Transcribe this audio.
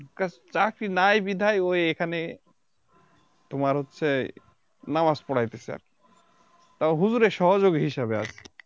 কা চাকরি নাই বিধাই ও এখানে তোমার হচ্ছে নামাজ পরাইতেছে আরকি তাও হুজুরের সহযোগী হিসাবে আর